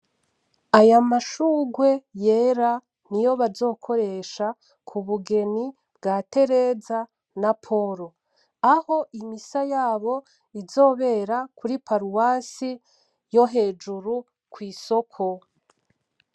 Aya mashurwe yera niyo bazokoresha k'ubugeni bwa Terezana na Polo aho imisa yabo izobera kuri Paruwasi yo hejuru kw’isoko.